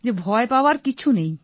যে ভয় পাওয়ার কিছু নেই